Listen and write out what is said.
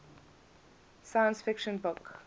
science fiction book